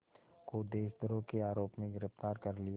को देशद्रोह के आरोप में गिरफ़्तार कर लिया